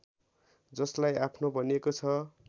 जसलाई आफ्नो भनिएको छ